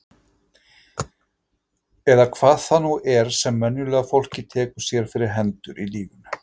Eða hvað það nú er sem venjulega fólkið tekur sér fyrir hendur í lífi sínu.